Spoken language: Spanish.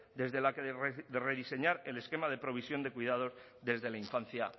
desde la que rediseñar el esquema de provisión de cuidados desde la infancia